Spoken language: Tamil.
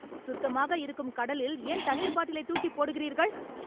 சுத்தமாக இருக்கும் கடலில் ஏன் தண்ணீர் பாட்டிலை தூக்கி போடுகிறீர்கள்?